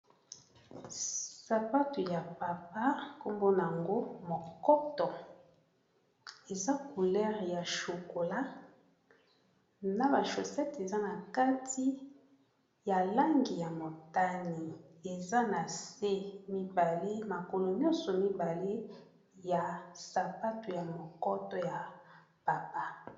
Sapatu ya papa nkombo nango mokoto eza couleur ya chokola na ba shosette eza na kati ya langi ya motani eza na se mibale makolo nyonso mibale ya sapatu ya mokoto ya papa.